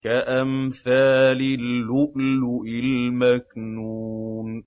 كَأَمْثَالِ اللُّؤْلُؤِ الْمَكْنُونِ